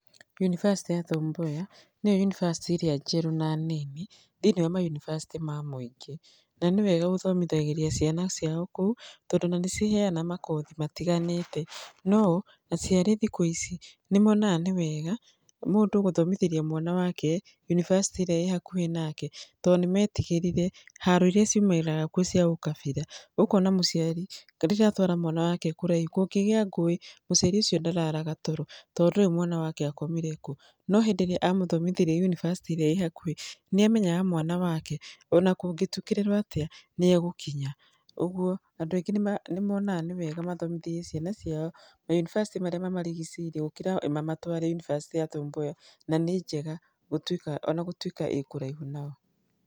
Yunibacĩtĩ ya Tom Mboya nĩyo Yunivasĩtĩ ĩrĩa njerũ na nini thĩinĩ wa mayunibacĩtĩ ma mũingĩ. Na nĩ wega gũthomitagĩria ciana ciao kũu tondũ ona nĩ ciheanaga makothi matiganĩte. No aciari thikũ ici nĩ monaga nĩ wega mũndũ gũthomithĩria mwana wake yunibacĩtĩ ĩrĩa ĩĩ hakuhĩ nake tondũ nĩ metigĩrire haro irĩa ciumanaga na ũkabira. Ũkona mũciari rĩrĩa atwara mwana wake kũraihu kũngĩgĩa ngũĩ mũciari ũcio ndararaga toro tondũ ndoĩ mwana wake akomire kũ. No hĩndĩ ĩrĩa amũthomithĩria yunibacĩtĩ ĩrĩa ĩĩ hakuhĩ nĩ amenyaga mwana wake ona kũngĩtukĩrĩrwo atia nĩ egũkinya. Ũguo andũ aingĩ nĩ monaga nĩ wega mathomithĩrie ciana ciao ma yunibacĩtĩ marĩa mamarigicĩirie gũkĩra mamatũare yunibacĩtĩ ya Tom Mboya, na nĩ njega ona gũtuika ĩĩ kũraihu nao.